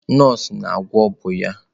Nọọsụ na-agwọ bụ ọnya.